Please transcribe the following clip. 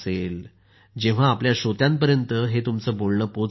जेव्हा आपल्या श्रोत्यांपर्यंत हे तुमचं हे बोलणं पोहोचेल